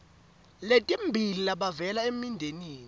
letimbili labavela emindenini